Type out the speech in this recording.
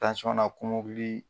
na kɔmɔkili